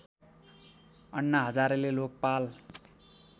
अन्ना हजारेले लोकपाल